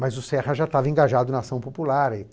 Mas o Serra já estava engajado na ação popular.